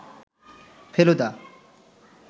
Feluda